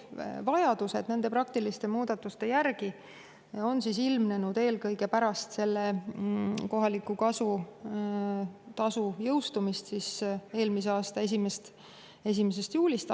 Vajadus nende praktiliste muudatuste järele on ilmnenud eelkõige pärast selle kohaliku kasu tasu jõustumist alates eelmise aasta 1. juulist.